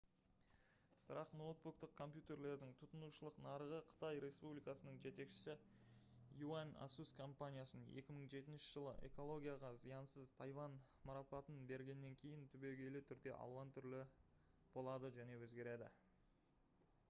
бірақ ноутбуктық компьютерлердің тұтынушылық нарығы қытай республикасының жетекшісі юань asus компаниясын 2007 жылы «экологияға зиянсыз тайвань» марапатын бергеннен кейін түбегейлі түрде алуан түрлі болады және өзгереді